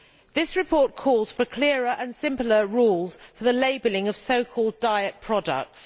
This report calls for clearer and simpler rules for the labelling of so called diet products.